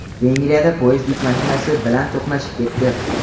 Vengriyada poyezd yuk mashinasi bilan to‘qnashib ketdi.